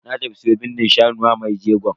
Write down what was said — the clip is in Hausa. Na tafi siyo bindin shanu wa mai jegon.